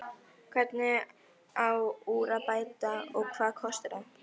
Hvernig á úr að bæta og hvað kostar það?